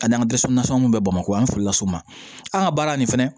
Ka n'an dɛsɛ nasɔngɔ mun bɛ bamakɔ yan an fili la so ma an ka baara nin fɛnɛ